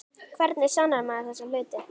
Hvernig sannar maður þessa hluti?